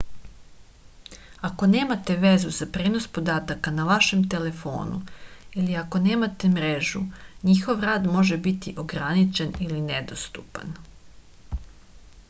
ako nemate vezu za prenos podataka na vašem telefonu ili ako nemate mrežu njihov rad može biti ograničen ili nedostupan